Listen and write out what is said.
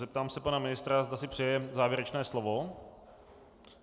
Zeptám se pana ministra, zda si přeje závěrečné slovo.